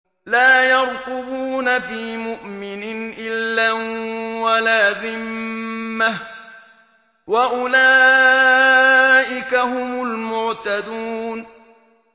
لَا يَرْقُبُونَ فِي مُؤْمِنٍ إِلًّا وَلَا ذِمَّةً ۚ وَأُولَٰئِكَ هُمُ الْمُعْتَدُونَ